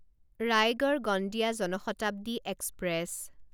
Raigarh Gondia Jan Shatabdi express